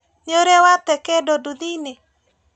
Nĩũrĩ wate kĩndũ nduthiinĩ?